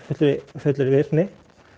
fullri virkni